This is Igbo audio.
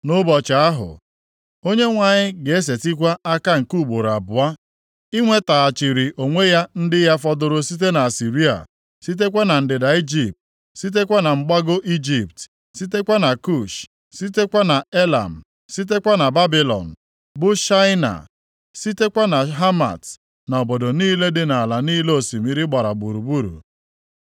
Nʼụbọchị ahụ, Onyenwe anyị ga-esetikwa aka nke ugboro abụọ + 11:11 Okwu a, “nke ugboro abụọ,” na-egosi na onwe mgbe ha lọtara nʼoge gara aga. Nlọghachi mbụ ha, bụ oge ha si Ijipt lọta. inwetaghachiri onwe ya ndị ya fọdụrụ site na Asịrịa, sitekwa na ndịda Ijipt, sitekwa na Mgbago Ijipt, + 11:11 Maọbụ, Patros sitekwa na Kush, sitekwa na Elam, sitekwa na Babilọn, bụ Shaịna, sitekwa na Hamat na obodo niile dị nʼala niile osimiri gbara gburugburu.